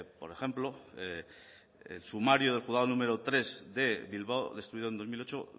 por ejemplo el sumario del juzgado número tres de bilbao destruido en dos mil ocho